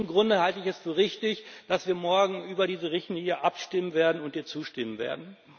Aus diesem Grunde halte ich es für richtig, dass wir morgen über diese Richtlinie abstimmen werden und ihr zustimmen werden.